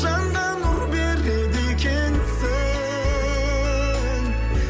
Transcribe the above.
жанға нұр береді екенсің